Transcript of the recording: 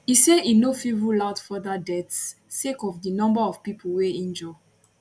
e say im no fit rule out further deaths sake of di number of pipo wey injure